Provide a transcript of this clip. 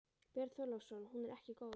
Björn Þorláksson: Hún er ekki góð?